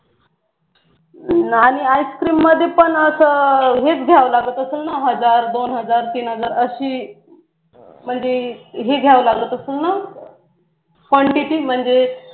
आणि आईसक्रीम मध्ये पण अस हेच घ्याव लागेल ना हजार दोन हजार तीन हजार अशी म्हणजे घ्यावी लागत असेल ना quantity म्हणजे